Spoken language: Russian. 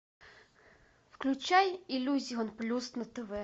включай иллюзион плюс на тв